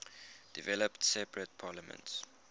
developed separate parliaments